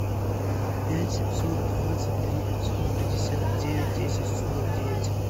пять семьсот двадцать три пятьсот пятьдесят девять десять сорок девять